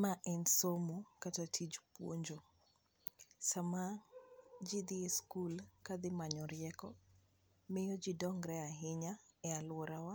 ma en somo kata tich puonjo, sama ji dhi school kadhi manyo rieko miyo ji dongre ahinya e aluorawa